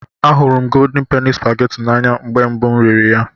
Ahụrụ m Goldin Peni Supageti n'anya mgbe mbụ m riri ya.